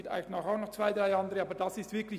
Vielleicht gibt es noch zwei oder drei andere.